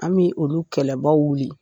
An bɛ olu kɛlɛbaaw minɛ.